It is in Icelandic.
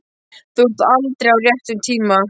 Þú ert aldrei á réttum tíma.